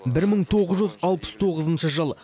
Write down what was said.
бір мың тоғыз жүз алпыс тоғызыншы жыл